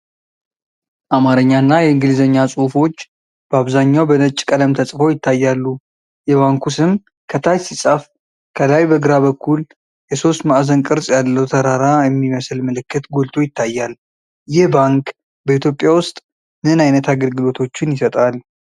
አማርኛና የእንግሊዘኛ ጽሑፎች በአብዛኛው በነጭ ቀለም ተጽፈው ይታያሉ። የባንኩ ስም ከታች ሲጻፍ፣ ከላይ በግራ በኩል የሦስት ማዕዘን ቅርጽ ያለው ተራራ የሚመስል ምልክት ጎልቶ ይታያል። ይህ ባንክ በኢትዮጵያ ውስጥ ምን ዓይነት አገልግሎቶችን ይሰጣል?